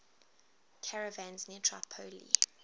caravans near tripoli